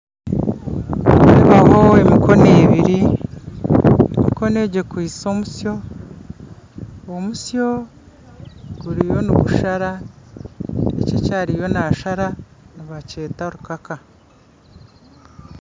Nindeebaho emikono ebiri emikono egi ekwitse omusyo omusyo guriyo nigushara eki akyariyo naashara nibakyeta rukaka